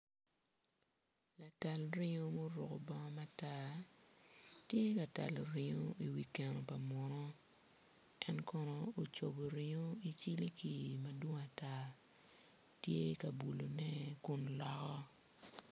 Latal ringo ma oruko bongo matar tye ka talo ringo i wi keno pa muno en kono ocubo ringo i ciliki madwong ata tye ka bulune kun loko.